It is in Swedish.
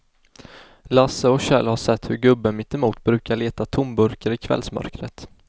Lasse och Kjell har sett hur gubben mittemot brukar leta tomburkar i kvällsmörkret.